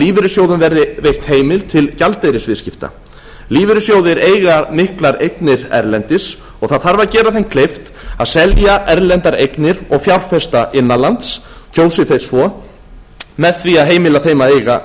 lífeyrissjóðum verði veitt heimild til gjaldeyrisviðskipta lífeyrissjóðir eiga miklar eignir erlendis og það þarf að gera þeim kleift að selja erlendar eignir og fjárfesta innan lands kjósi þeir svo með því að heimila þeim að eiga